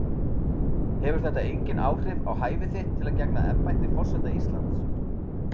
Hefur þetta engin áhrif á hæfi þitt til að gegna embætti forseta Íslands?